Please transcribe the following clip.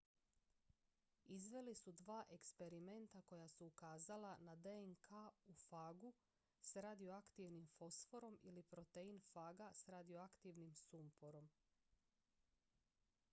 izveli su dva eksperimenta koja su ukazala na dnk u fagu s radioaktivnim fosforom ili protein faga s radioaktivnim sumporom